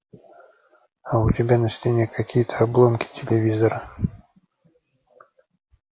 а у тебя на стене какие-то обломки телевизора